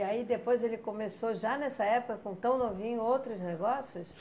E aí depois ele começou, já nessa época, com tão novinho, outros negócios?